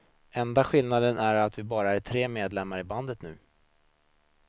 Enda skillnaden är att vi bara är tre medlemmar i bandet nu.